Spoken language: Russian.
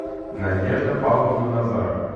надежда павловна назарова